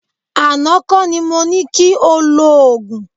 Àná kọ́ ni mo ní ki o lòògùn.